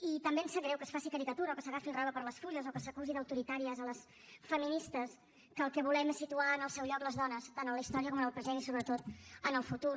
i també em sap greu que es faci caricatura o que s’agafi el rave per les fulles o que s’acusi d’autoritàries les feministes que el que volem és situar en el seu lloc les dones tant en la història com en el present i sobretot en el futur